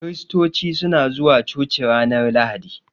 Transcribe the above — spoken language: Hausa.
Kiristoci suna zuwa coci ranar Lahadi.